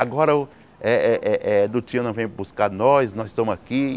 Agora o eh eh eh do tio não vem buscar nós, nós estamos aqui.